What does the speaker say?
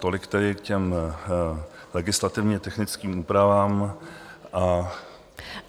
Tolik tedy k těm legislativně technickým úpravám.